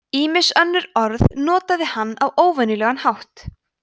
ýmis önnur orð notaði hann á óvenjulegan hátt